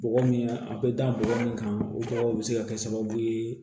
Bɔgɔ min a bɛ da bɔgɔ min kan o tɔgɔ bɛ se ka kɛ sababu ye